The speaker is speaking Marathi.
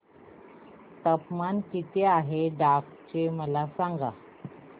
तापमान किती आहे डांग चे मला सांगा